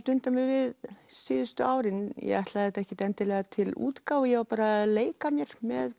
dundað mér við síðustu árin ég ætlaði þetta ekkert endilega til útgáfu ég var bara að leika mér með